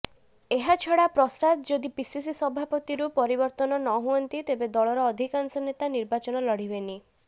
ଏହାଛଡା ପ୍ରସାଦ ଯଦି ପିସିସି ସଭାପତିରୁ ପରିବର୍ତ୍ତନ ନ ହୁଅନ୍ତି ତେବେ ଦଳର ଅଧିକାଂଶ ନେତା ର୍ନିବାଚନ ଲଢିବେନି